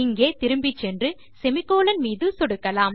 இங்கே திரும்பிச்சென்று செமிகோலன் மீது சொடுக்கலாம்